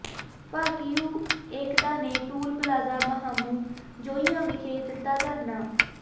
ਭਾਕਿਯੂ ਏਕਤਾ ਨੇ toll plaza Mahamu Joian ਵਿਖੇ ਦਿੱਤਾ ਧਰਨਾ